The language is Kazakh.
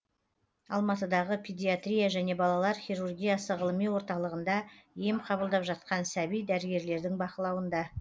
алматыдағы педиатрия және балалар хирургиясы ғылыми орталығында ем қабылдап жатқан сәби дәрігерлердің бақылауында